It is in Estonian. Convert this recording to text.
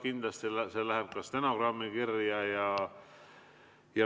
Kindlasti läheb see ka stenogrammi kirja.